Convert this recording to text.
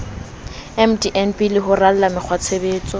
mdnb le ho rala mekgwatshebetso